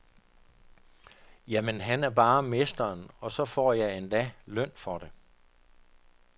Jamen han er bare mesteren, og så får jeg endda løn for det.